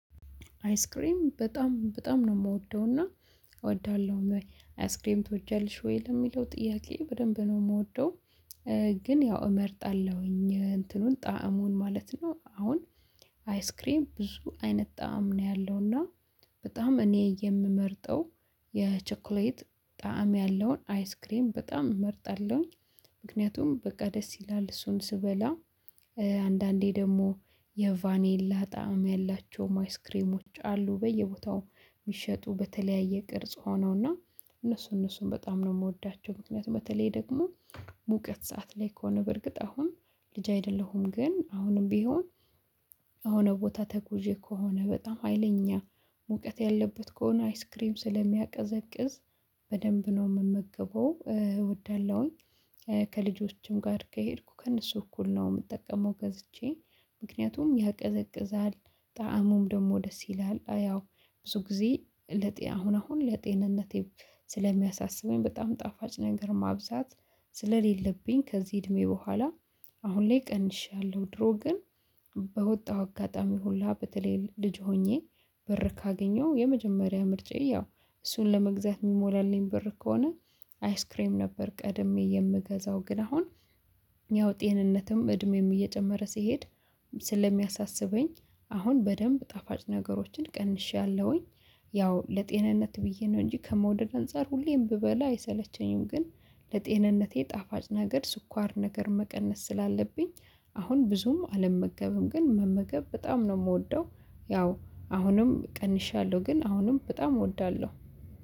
አይስክሬም በጣም በጣም ነው የምወደውና እወዳለሁ አይስክሬም ትወጃለሽ ወይ ለሚለው ጥያቄ በደንብ ነው የምወደው። ግን ያው እመርጣለሁኝ እንትኑን ጣዕሙን ማለት ነው። አሁን አይስክሬም ብዙ አይነት ጣዕም ነው ያለው። እና በጣም እኔ የምመርጠው የቸኩሌት ጣዕም ያለውን አይስክሬም በጣም እመርጣለሁኝ። ምክንያቱም በቃ ደስ ይላል እሱን ስበላ። አንዳንዴ ደግሞ የቫኔላ ጣዕም ያላቸው አይስክሬሞች አሉ በየቦታው የሚሸጡ በተለያየ ቅርጽ ሆነውና እነሱ እነሱን በጣም ነው የምወዳቸው። ምክንያቱም በተለይ ደግሞ ሙቀት ሰዓት ላይ ከሆነ በርግጥ አሁን ልጅ አይደለሁም። ግን አሁንም ቢሆን የሆነ ቦታ ተጉዤ ከሆነ በጣም ሀይለኛ ሙቀት ያለበት ከሆነ አይስክሬም ስለሚያቀዘቅዝ በደንብ ነው የምመገበው እወዳለሁኝ። ከልጆችም ጋር ከሄድኩ ከእነሱ እኩል ነው የምጠቀመው ገዝቼ ምክንያቱም ያቀዘቅዛል ጣእሙም ደግሞ ደስ ይላል። አያው ያው ብዙ ጊዜ ለጤን አሁን አሁን ለጤንነቴ ስለሚያሳስበኝ በጣም ጣፋጭ ነገር ማብዛት። ስለሌለብኝ ከዚህ እድሜ በኋላ አሁን ላይ ቀንሻለሁ። ድሮ ግን በወጣው አጋጣሚ ሁላ በተለይ ልጅ ሆኜ በር ካገኘው የመጀመሪያ ምርጫዬ ያው እሱን ለመግዛት የሚሞላልኝ ብር ከሆነ አይስክሬም ነበር ቀድሜ የምገዛው። ግን አሁን ያው ጤንነትም እድሜም እየጨመረ ሲሄድ ስለሚያሳስበኝ አሁን በደንብ ጣፋጭ ነገሮችን ቀንሼያለሁኝ። ያው ለጤንነት ብዬ ነው እንጂ ከመውደድ አንፃር ሁሌም ብበላ አይሰለቸኝም ግን ለጤንነቴ ጣፋጭ ነገር ስኳር ነገር መቀነስ ስላለብኝ አሁን ብዙም አልመገበም። ግን መመገብ በጣም ነው የምወደው ያው አሁንም ቀንሻለሁ ግን አሁንም በጣም እወዳለሁ